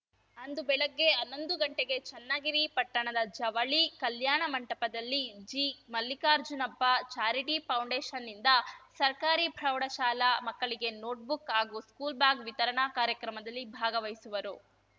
ಅಂದು ಬೆಳಗ್ಗೆ ಹನ್ನೊಂದು ಗಂಟೆಗೆ ಚನ್ನಗಿರಿ ಪಟ್ಟಣದ ಜವಳಿ ಕಲ್ಯಾಣ ಮಂಟಪದಲ್ಲಿ ಜಿಮಲ್ಲಿಕಾರ್ಜುನಪ್ಪ ಚಾರಿಟಿ ಫೌಂಡೇಷನ್‌ನಿಂದ ಸರ್ಕಾರಿ ಪ್ರೌಢಶಾಲಾ ಮಕ್ಕಳಿಗೆ ನೋಟ್‌ ಬುಕ್‌ ಹಾಗೂ ಸ್ಕೂಲ್‌ ಬ್ಯಾಗ್‌ ವಿತರಣಾ ಕಾರ್ಯಕ್ರಮದಲ್ಲಿ ಭಾಗವಹಿಸುವರು